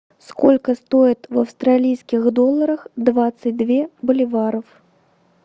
сколько стоит в австралийских долларах двадцать две боливаров